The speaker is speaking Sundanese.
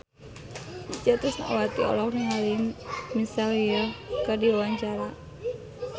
Itje Tresnawati olohok ningali Michelle Yeoh keur diwawancara